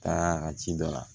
Taara a ka ci dɔ la